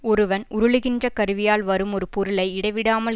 ஒருவன் உருளுகின்ற கருவியால் வரும் ஒரு பொருளை இடைவிடாமல்